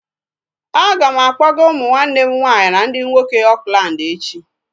A ga m akpọga umu nwanne m nwaanyị ndị nwoke Oakland echi